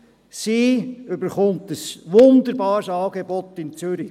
Sie bekommt ein wunderbares Angebot in Zürich.